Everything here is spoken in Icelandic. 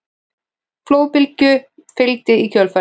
Flóðbylgja fylgdi í kjölfarið